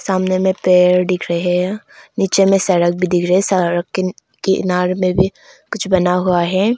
सामने में पेड़ दिख रहे है नीचे में सड़क भी दिख रहे है सड़क के किनारे में भी कुछ बना हुआ है।